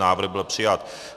Návrh byl přijat.